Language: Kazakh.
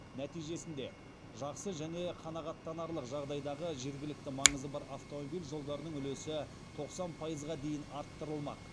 нәтижесінде жақсы және қанағаттанарлық жағдайдағы жергілікті маңызы бар автомобиль жолдарының үлесі тоқсан пайызға дейін арттырылмақ